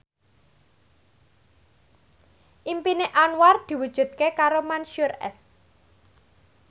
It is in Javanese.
impine Anwar diwujudke karo Mansyur S